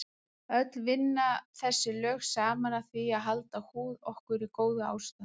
Öll vinna þessi lög saman að því að halda húð okkur í góðu ástandi.